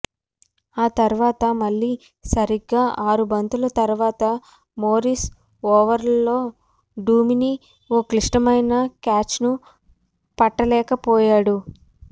ఆ తర్వాత మళ్లీ సరిగ్గా ఆరు బంతుల తర్వాత మోరిస్ ఓవర్లో డుమిని ఓ క్లిష్టమైన క్యాచ్ను పట్టలేకపోయాడు